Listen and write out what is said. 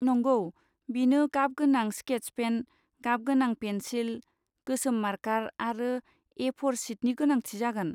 नंगौ, बिनो गाबगोनां स्केच पेन, गाबगोनां पेनसिल, गोसोम मार्कार आरो ए फ'र शिटनि गोनांथि जागोन।